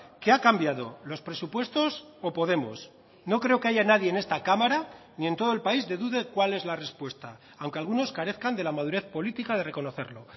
qué ha cambiado los presupuestos o podemos no creo que haya nadie en esta cámara ni en todo el país de dude cuál es la respuesta aunque algunos carezcan de la madurez política de reconocerlo